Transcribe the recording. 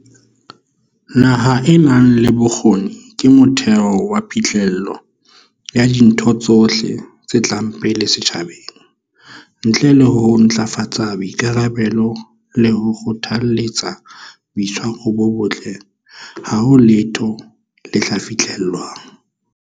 Naha e nang le bokgoni ke motheo wa phihlello ya dintho tsohle tse tlang pele setjhabeng. Ntle le ho ntlafatsa boikarabello le ho kgothaletsa boitshwaro bo botle, ha ho letho le tla fihlellwang.